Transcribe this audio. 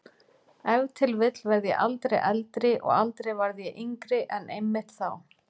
Ef til vill verð ég aldrei eldri og aldrei varð ég yngri en einmitt þá.